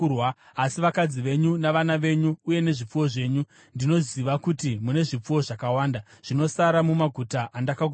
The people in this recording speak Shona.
Asi, vakadzi venyu navana venyu uye nezvipfuwo zvenyu (ndinoziva kuti mune zvipfuwo zvakawanda) zvinosara mumaguta andakakupai,